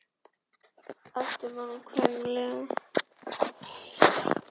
æpti mamma kvenlega.